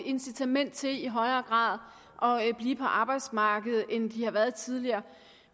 incitament til i højere grad grad at blive på arbejdsmarkedet end de har været tidligere